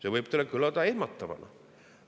See võib kõlada ehmatavana.